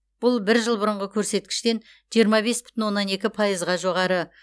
бұл бір жыл бұрынғы көрсеткіштен жиырма бес бүтін оннан екі пайызға жоғары